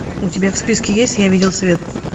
у тебя в списке есть я видел свет